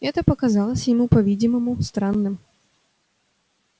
это показалось ему по-видимому странным